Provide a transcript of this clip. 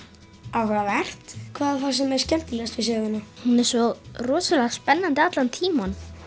áhugavert hvað fannst þér skemmtilegast við söguna hún er svo rosalega spennandi allan tímann